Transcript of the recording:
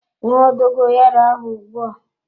Ṅụọ dogoyaro ahụ ugbua!